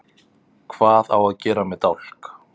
Hvað á að gera með dálk?